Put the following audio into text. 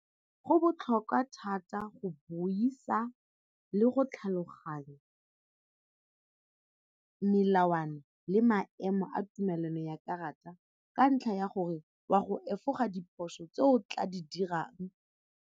Go botlhokwa thata go buisa le go tlhaloganya melawana le maemo a tumelano ya karata ka ntlha ya gore wa go efoga diphoso tse o tla di dirang.